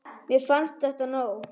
Mér fannst þetta nóg.